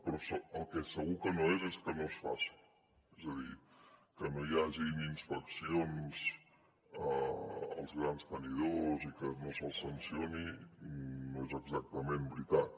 però el que segur que no és és que no es faci és a dir que no hi hagin inspeccions als grans tenidors i que no se’ls sancioni no és exactament veritat